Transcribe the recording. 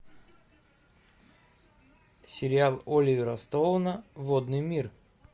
сериал оливера стоуна водный мир